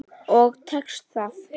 Og tekst það.